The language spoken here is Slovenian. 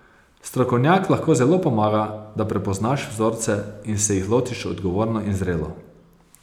Strokovnjak lahko zelo pomaga, da prepoznaš vzorce in se jih lotiš odgovorno in zrelo.